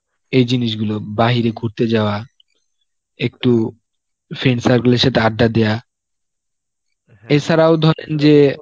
এই জিনিসগুলো বাহিরে ঘুরতে যাওয়া, একটু friend circle এর সাথে আড্ডা দেওয়া এসারাও ধরেন যে